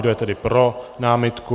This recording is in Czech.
Kdo je tedy pro námitku?